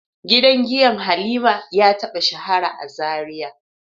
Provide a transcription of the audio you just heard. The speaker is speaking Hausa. Gidan giya Halima ya taba shahara a Zaria.